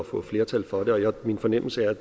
få flertal for dem og min fornemmelse er at